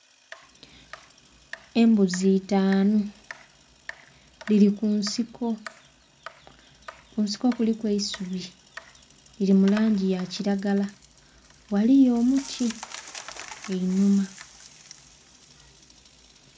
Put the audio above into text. Embuzi itaanu, dhiri ku nsiko. Kunsiko kuliku eisubi, liri mu langi ya kiragala ghaliyo omuti einhuma.